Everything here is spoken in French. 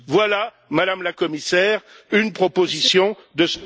Voilà, Madame la Commissaire une proposition de